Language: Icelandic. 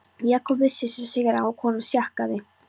Jakob vissi sig sigraðan og í honum sljákkaði.